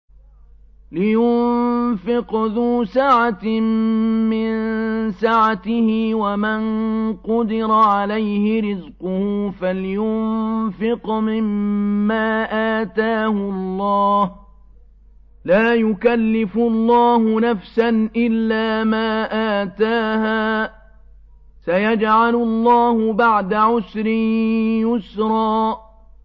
لِيُنفِقْ ذُو سَعَةٍ مِّن سَعَتِهِ ۖ وَمَن قُدِرَ عَلَيْهِ رِزْقُهُ فَلْيُنفِقْ مِمَّا آتَاهُ اللَّهُ ۚ لَا يُكَلِّفُ اللَّهُ نَفْسًا إِلَّا مَا آتَاهَا ۚ سَيَجْعَلُ اللَّهُ بَعْدَ عُسْرٍ يُسْرًا